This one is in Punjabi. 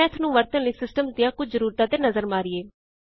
ਆਓ ਮੈਥ ਨੂੰ ਵਰਤਨ ਲਈ ਸਿਸਟਮਜ਼ ਦੀਆਂ ਕੁਝ ਜ਼ਰੂਰਤਾਂ ਤੇ ਨਜ਼ਰ ਮਾਰੀਏ